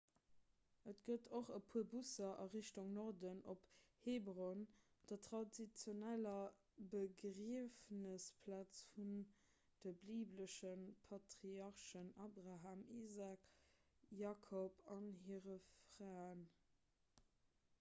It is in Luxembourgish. et gëtt och e puer busser a richtung norden op hebron der traditioneller begriefnesplaz vun de bibelesche patriarchen abraham isaak jakob a hire fraen